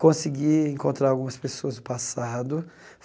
Consegui encontrar algumas pessoas do passado.